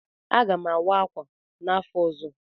Aga m awa ákwà n'afọ ọzọ.